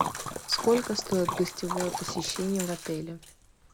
сколько стоит гостевое посещение в отеле